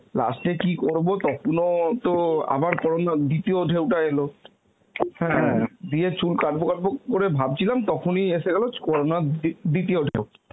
last এ কি করবো তখনো তো আবার Corona র দ্বিতীয় ঢেউ টা এল দিয়ে চুল কাটবো কাটবো ভাবছিলাম তখনই এসে গেল Corona র দি~ দ্বিতীয় ঢেউ.